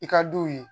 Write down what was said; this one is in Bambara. I ka duw ye